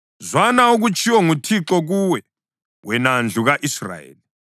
Zwana okutshiwo nguThixo kuwe, wena ndlu ka-Israyeli.